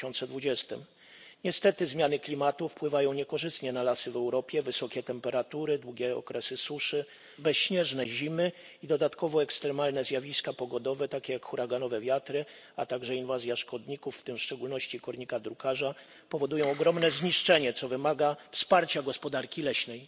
2020. Niestety zmiany klimatu wpływają niekorzystnie na lasy w Europie wysokie temperatury, długie okresy suszy, bezśnieżne zimy i dodatkowo ekstremalne zjawiska pogodowe, takie jak huraganowe wiatry, a także inwazja szkodników, w tym w szczególności kornika drukarza, powodują ogromne zniszczenia, co wymaga wsparcia gospodarki leśnej.